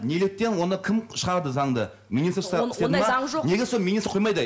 неліктен оны кім шығарды заңды неге сол министр құрмайды